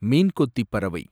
மீன் கொத்தி பறவை